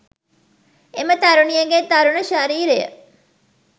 එම තරුණියගේ තරුණ ශරීරය.